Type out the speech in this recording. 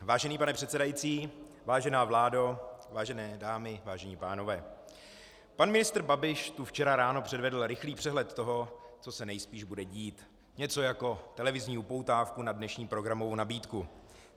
Vážený pane předsedající, vážená vládo, vážené dámy, vážení pánové, pan ministr Babiš tu včera ráno předvedl rychlý přehled toho, co se nejspíš bude dít, něco jako televizní upoutávku na dnešní programovou nabídku.